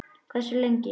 Hversu lengi?